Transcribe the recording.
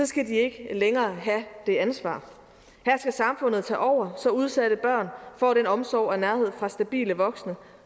skal de ikke længere have det ansvar her skal samfundet tage over så udsatte børn får den omsorg og nærhed fra stabile voksne